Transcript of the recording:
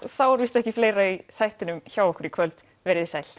þá er ekki fleira í þættinum hjá okkur í kvöld veriði sæl